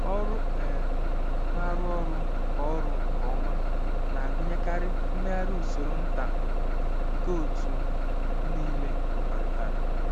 Ọrụ um na-arụ ọrụ nke ọrụ nke ọma na-agụnyekarị mmegharị usoro nta nke otu m niile kwekọrịtara.